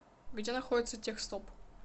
где находится техстоп